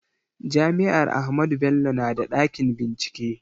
Jami'ar Ahmadu Bello na da ɗakin bincike